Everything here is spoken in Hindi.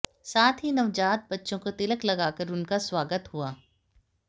साथ ही नवजात बच्चों को तिलक लगाकर उनका स्वागत हुआ